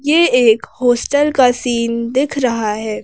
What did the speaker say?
ये एक हॉस्टल का सीन दिख रहा है।